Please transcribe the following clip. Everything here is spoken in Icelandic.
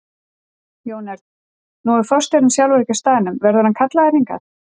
Jón Örn: Nú er forstjórinn sjálfur ekki á staðnum, verður hann kallaður hingað?